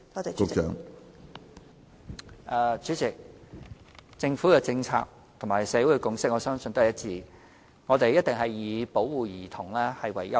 主席，我相信政府的政策和社會的共識是一致的，都是以保護兒童為優先。